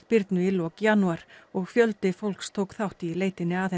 Birnu í lok janúar og fjöldi fólks tók þátt í leitinni að